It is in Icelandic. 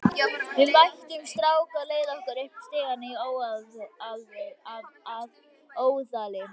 Við mættum strák á leið okkar upp stigann í Óðali.